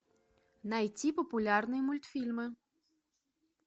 найти популярные мультфильмы